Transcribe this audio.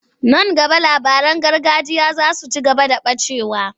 Nan gaba labaran gargajiya za su ci gaba da ɓacewa.